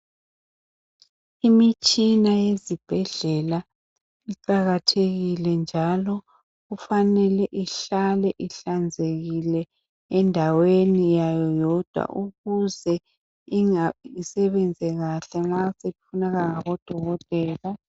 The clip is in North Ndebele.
Imitshina yezibhedlela iqakathekile njalo kufanele ihlale ihlanzekile endaweni yayo yodwa ukuze isebenze kahle nxa sifunakala kubodokotela.